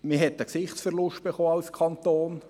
Als Kanton hat man einen Gesichtsverlust erhalten.